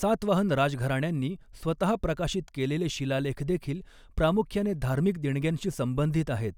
सातवाहन राजघराण्यांनी स्वतः प्रकाशित केलेले शिलालेखदेखील प्रामुख्याने धार्मिक देणग्यांशी संबंधित आहेत,